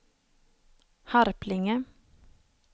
Harplinge